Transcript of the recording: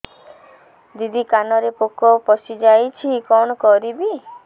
ଦିଦି କାନରେ ପୋକ ପଶିଯାଇଛି କଣ କରିଵି